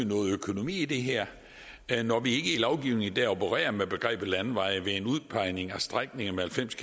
noget økonomi i det her når vi ikke i lovgivningen i dag opererer med begrebet landeveje ved en udpegning af strækninger med halvfems